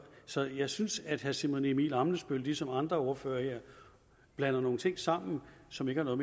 så jeg synes at herre simon emil ammitzbøll ligesom andre ordførere blander nogle ting sammen som ikke har